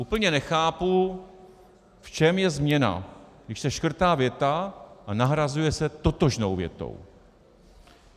Úplně nechápu, v čem je změna, když se škrtá věta a nahrazuje se totožnou větou.